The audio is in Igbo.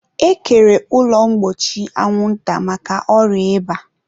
e kere ụlọ mgbochi anwụnta maka ọrịa ịba.